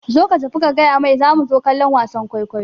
Zo ka tafi ka gayamar zamu zo kallon wasan kwaikwayo